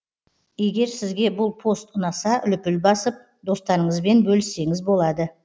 егер сізге бұл пост ұнаса лүпіл басып достарыңызбен бөліссеңіз болады